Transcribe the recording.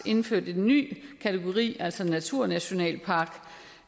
indført en ny kategori altså en naturnationalpark